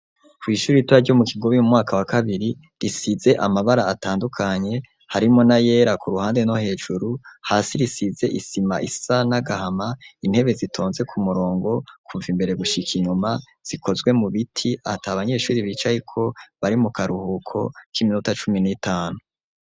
Kw' ishuri ritoya ryo mu kigobe mu mwaka wa kabiri risize amabara atandukanye harimo na yera ku ruhande no hejuru hasi risize isima isa nagahama intebe zitonze ku murongo kumva imbere gushika inyuma, zikozwe mu biti ati abanyeshuri bicaye ko bari mu karuhuko k'iminota cumi n'itanu.